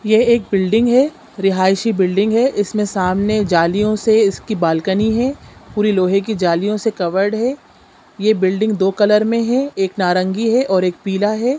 ये एक बिल्डिंग है रेहाइसी बिल्डिंग है इसमें सामने जालियों से इसकी बालकनी है पूरी लोहे की जालियों से कवर्ड है ये बिल्डिंग दो कलर में है एक नारंगी है और एक पीला हैं।